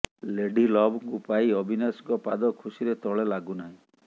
lady ଲଭ୍ଙ୍କୁ ପାଇ ଅବିନାଶଙ୍କ ପାଦ ଖୁସିରେ ତଳେ ଲାଗୁ ନାହିଁ